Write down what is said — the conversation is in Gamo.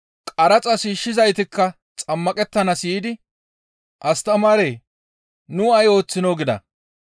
Qaraxa shiishshizaytikka xammaqettanaas yiidi, «Astamaaree! Nu ay ooththinoo?» gida.